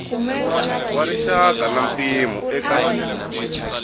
wa rixaka na mpimo eka